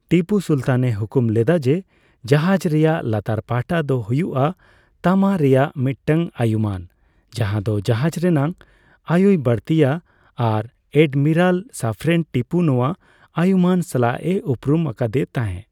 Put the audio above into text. ᱴᱤᱯᱩ ᱥᱩᱞᱛᱟᱱ ᱮ ᱦᱩᱠᱩᱢ ᱞᱮᱫᱟ ᱡᱮ ᱡᱟᱦᱟᱡᱽ ᱨᱮᱱᱟᱜ ᱞᱟᱛᱟᱨ ᱯᱟᱦᱴᱟ ᱫᱚ ᱦᱩᱭᱩᱜ ᱼᱟ ᱛᱟᱢᱟ ᱨᱮᱱᱟᱜ, ᱢᱤᱫᱴᱟᱝ ᱟᱭᱩᱢᱟᱹᱱ ᱡᱟᱦᱟ ᱫᱚ ᱡᱟᱦᱟᱡᱽ ᱨᱮᱱᱟᱜ ᱟᱭᱩᱭ ᱵᱟᱲᱛᱤᱭᱟ ᱟᱨ ᱟᱰᱢᱤᱨᱟᱞ ᱥᱟᱯᱷᱨᱮᱱ ᱴᱤᱯᱩ ᱱᱚᱣᱟ ᱟᱭᱩᱢᱟᱹᱱ ᱥᱟᱞᱟᱜ ᱮ ᱩᱯᱨᱩᱢ ᱟᱠᱟᱫᱮ ᱛᱟᱸᱦᱮ ᱾